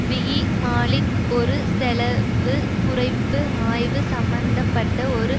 விபிமாலிக் ஒரு செலவு குறைப்பு ஆய்வு சம்பந்த பட்ட ஒரு